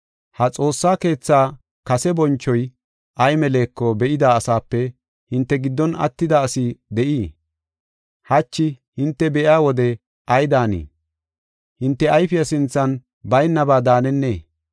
Ha xoossa keetha kase bonchoy ay meleko be7ida asaape hinte giddon attida asi de7ii? Hachi hinte be7iya wode ay daanii? Hinte ayfiya sinthan baynaba daanennee?